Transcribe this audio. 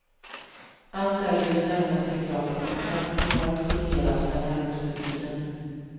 Allt är i det närmaste klart och kontrakt kommer att signeras den närmaste tiden.